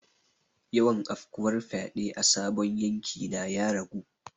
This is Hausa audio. Yawan afkuwar fyade a sabon yanki na ya ragu.